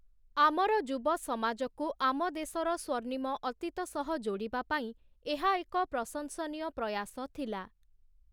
ଆମର ଯୁବସମାଜକୁ ଆମ ଦେଶର ସ୍ୱର୍ଣ୍ଣିମ ଅତୀତ ସହ ଯୋଡ଼ିବା ପାଇଁ ଏହା ଏକ ପ୍ରଶଂସନୀୟ ପ୍ରୟାସ ଥିଲା ।